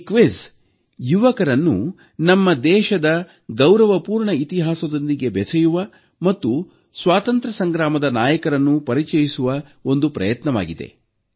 ಈ ಕ್ವಿಝ್ ಯುವಕರನ್ನು ನಮ್ಮ ದೇಶದ ಗೌರವಪೂರ್ಣ ಇತಿಹಾಸದೊಂದಿಗೆ ಬೆಸೆಯುವ ಮತ್ತು ಅವರಿಗೆ ಸ್ವಾತಂತ್ರ್ಯ ಸಂಗ್ರಾಮದ ನಾಯಕರನ್ನು ಪರಿಚಯಿಸುವ ಒಂದು ಪ್ರಯತ್ನವಾಗಿದೆ